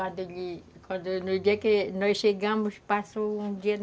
Aí, no dia que nós chegamos, passou um dia.